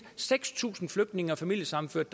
seks tusind flygtninge og familiesammenførte